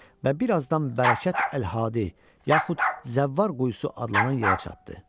Və birazdan bərəkət Əl-Hadi, yaxud Zəvvar quyusu adlanan yerə çatdı.